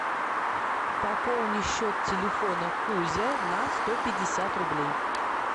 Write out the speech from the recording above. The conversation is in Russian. пополни счет телефона кузя на сто пятьдесят рублей